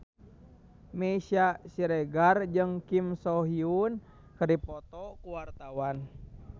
Meisya Siregar jeung Kim So Hyun keur dipoto ku wartawan